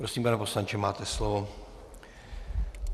Prosím, pane poslanče, máte slovo.